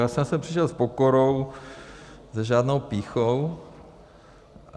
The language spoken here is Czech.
Já jsem sem přišel s pokorou, s žádnou pýchou.